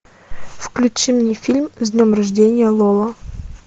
включи мне фильм с днем рождения лола